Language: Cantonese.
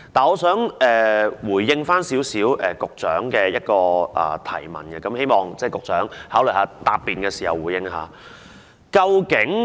我想對局長的提問作出少許回應，希望局長考慮在答辯時回應一下。